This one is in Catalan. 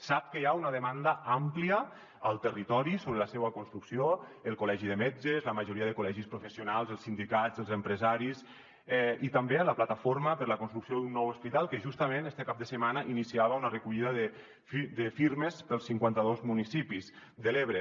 sap que hi ha una demanda àmplia al territori sobre la seua construcció el col·legi de metges la majoria de col·legis professionals els sindicats els empresaris i també la plataforma per un nou hospital que justament este cap de setmana iniciava una recollida de firmes pels cinquanta dos municipis de l’ebre